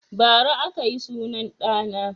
Bara aka yi sunan ɗa na